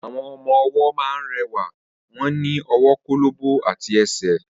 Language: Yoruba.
Awọn ọmọ wó mà ń rẹwa, won ni ,ọwó kólòbò àtí ẹsẹ